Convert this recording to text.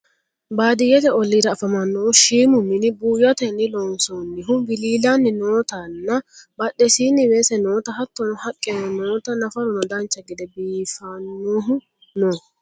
baadiyyete olliira afamannohu shiimu mini buuyyotenni loonsoonihu wiliilanni nootanna badhesiinnin weese noota hattono haqqeno noota nafaruno dancha gede biifannohu no